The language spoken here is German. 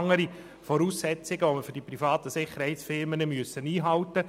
Dabei müssen die privaten Sicherheitsfirmen ganz andere Voraussetzungen einhalten.